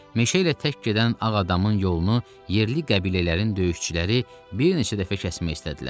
Meşə ilə tək gedən ağ adamın yolunu yerli qəbilələrin döyüşçüləri bir neçə dəfə kəsmək istədilər.